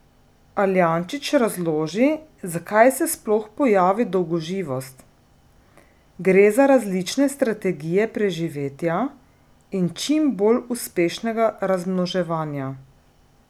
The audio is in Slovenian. Aljančič razloži, zakaj se sploh pojavi dolgoživost: "Gre za različne strategije preživetja in čim bolj uspešnega razmnoževanja.